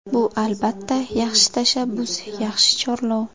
Bu, albatta, yaxshi tashabbus, yaxshi chorlov.